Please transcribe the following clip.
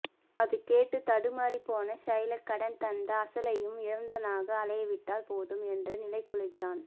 அது கேட்டு தடுமாறிப்போன ஷைலாக் கடன் தந்த அசலையும் இழந்தவனாக ஆளை விட்டால் போதும் என்ற நிலைக்குள்ளாகிறான்